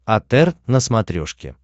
отр на смотрешке